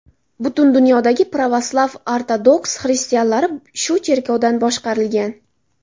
Butun dunyodagi Provaslav-Ortodoks xristianlari shu cherkovdan boshqarilgan.